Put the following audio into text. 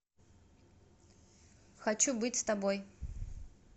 хочу быть с тобой